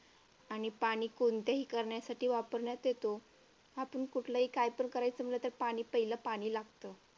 आणि पाणी कोणत्याही कारणासाठी वापरण्यात येतो. आपण कुठलं काही पण करायचं म्हटलं की पहिलं पाणी लागतं.